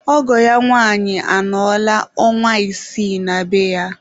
Ọgọ ya nwanyị anọla ọnwa isii na be ya.